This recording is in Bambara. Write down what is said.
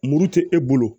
Muru tɛ e bolo